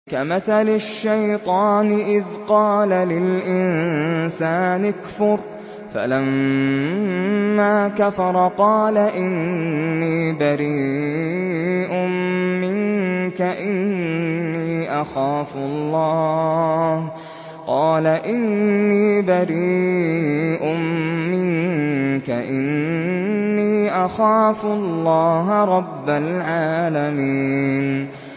كَمَثَلِ الشَّيْطَانِ إِذْ قَالَ لِلْإِنسَانِ اكْفُرْ فَلَمَّا كَفَرَ قَالَ إِنِّي بَرِيءٌ مِّنكَ إِنِّي أَخَافُ اللَّهَ رَبَّ الْعَالَمِينَ